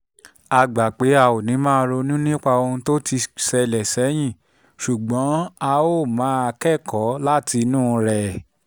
a gbà pé a ò ní máa ronú nípa ohun tó ti ṣẹlẹ̀ sẹ́yìn ṣùgbọ́n a máa kẹ́kọ̀ọ́ látinú rẹ̀